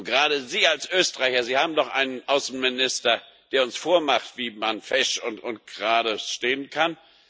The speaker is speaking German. Gerade Sie als Österreicher Sie haben doch einen Außenminister, der uns vormacht, wie man fesch und gerade stehen kann.